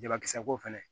Jabakisɛko fɛnɛ